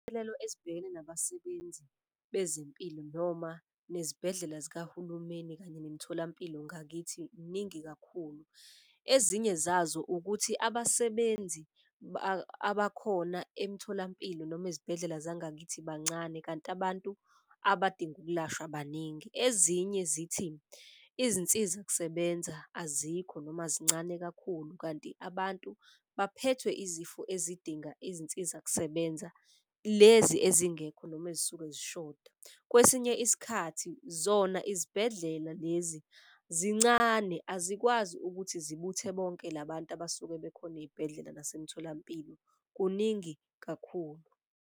Izinselelo ezibhekene nabasebenzi bezempilo noma nezibhedlela zikahulumeni kanye nemitholampilo ngakithi iningi kakhulu. Ezinye zazo ukuthi abasebenzi abakhona emtholampilo noma ezibhedlela zangakithi bancane kanti abantu abadinga ukulashwa baningi. Ezinye zithi izinsiza kusebenza azikho noma zincane kakhulu, kanti abantu abaphethwe izifo ezidinga izinsizakusebenza lezi ezingekho noma ezisuke zishoda. Kwesinye isikhathi zona izibhedlela lezi zincane azikwazi ukuthi zibuthe bonke labantu abasuke bekhona ey'bhedlela nasemtholampilo, kuningi kakhulu.